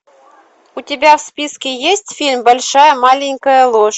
у тебя в списке есть фильм большая маленькая ложь